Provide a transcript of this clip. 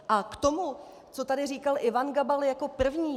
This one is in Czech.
A k tomu, co tady říkal Ivan Gabal jako první.